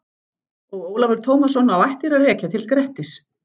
Og Ólafur Tómasson á ættir að rekja til Grettis.